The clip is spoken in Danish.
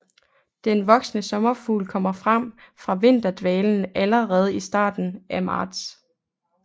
Den voksne sommerfugl kommer frem fra vinterdvalen allerede i starten af marts